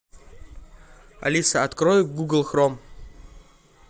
алиса открой гугл хром